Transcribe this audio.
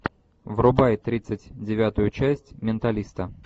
врубай тридцать девятую часть менталиста